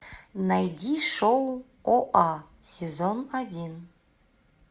найди шоу оа сезон один